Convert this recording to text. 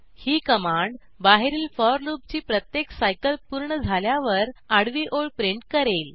ही command बाहेरील for लूपची प्रत्येक सायकल पूर्ण झाल्यावर आडवी ओळ प्रिंट करेल